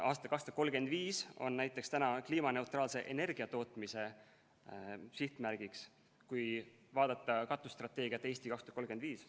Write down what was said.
Aasta 2035 on näiteks praegu seatud kliimaneutraalse energiatootmise sihtmärgiks, kui vaadata katusstrateegiat "Eesti 2035".